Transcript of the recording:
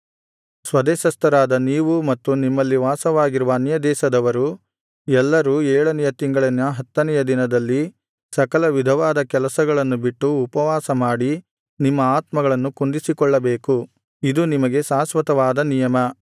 ಸ್ವದೇಶಸ್ಥರಾದ ನೀವೂ ಮತ್ತು ನಿಮ್ಮಲ್ಲಿ ವಾಸವಾಗಿರುವ ಅನ್ಯದೇಶದವರು ಎಲ್ಲರೂ ಏಳನೆಯ ತಿಂಗಳಿನ ಹತ್ತನೆಯ ದಿನದಲ್ಲಿ ಸಕಲ ವಿಧವಾದ ಕೆಲಸಗಳನ್ನು ಬಿಟ್ಟು ಉಪವಾಸಮಾಡಿ ನಿಮ್ಮ ಆತ್ಮಗಳನ್ನು ಕುಂದಿಸಿಕೊಳ್ಳಬೇಕು ಇದು ನಿಮಗೆ ಶಾಶ್ವತವಾದ ನಿಯಮ